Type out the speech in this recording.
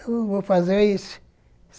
Eu vou fazer isso.